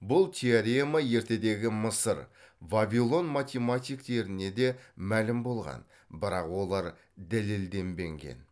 бұл теорема ертедегі мысыр вавилон математиктеріне де мәлім болған бірақ олар дәлелденбеген